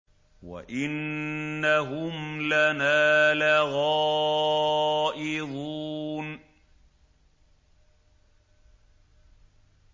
وَإِنَّهُمْ لَنَا لَغَائِظُونَ